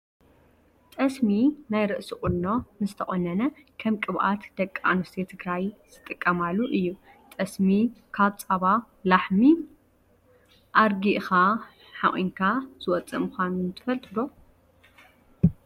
ጠስሚ ናይ ርእሲ ቁኖ ምስ ተቆነነ ከም ቅብኣት ደቂ ኣንስትዮ ትግራይ ዝጥቀማሉ እዩ። ጠስሚ ካብ ፃባ ላሕሚ ኣርጊእካ ሓቁንካ ዝወፅእ ምኳኑ ትፈልጡ ዶ ?